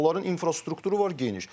Onların infrastrukturu var geniş.